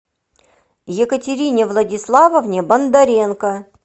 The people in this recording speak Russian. екатерине владиславовне бондаренко